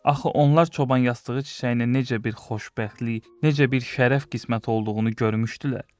Axı onlar çoban yastığı çiçəyinə necə bir xoşbəxtlik, necə bir şərəf qismət olduğunu görmüşdülər?